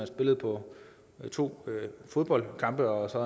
spillede på to fodboldkampe og så